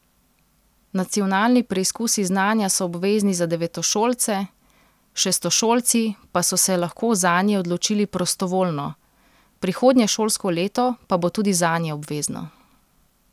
Nacionalni preizkusi znanja so obvezni za devetošolce, šestošolci pa so se lahko zanje odločili prostovoljno, prihodnje šolsko leto pa bo tudi zanje obvezno.